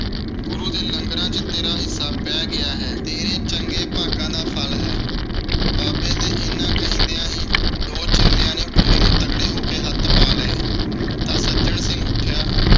ਗੁਰੂ ਦੇ ਲੰਗਰਾਂ ਵਿਚ ਤੇਰਾ ਹਿੱਸਾ ਪੈ ਗਿਆ ਹੈ। ਤੇਰੇ ਚੰਗੇ ਭਾਗਾਂ ਦਾ ਫਲ ਹੈ। ਬਾਬੇ ਦੇ ਇੰਨੇ ਕਹਿੰਦਿਆ ਹੀ ਦੋ ਚੇਲਿਆਂ ਨੇ ਬੋਰੀ ਨੂੰ ਤਗੜੇ ਹੋ ਕੇ ਹੱਥ ਪਾ ਲਏ ਤਾਂ ਸੱਜਣ ਸਿੰਘ ਉੱਠਿਆ